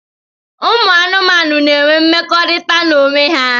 Ụmụ anụmanụ n'enwe mmekọrịta n'onwe ha.